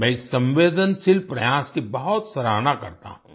मैं इस संवेदनशील प्रयास की बहुत सराहना करता हूँ